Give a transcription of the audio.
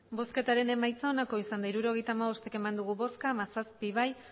hirurogeita hamabost eman dugu bozka hamazazpi bai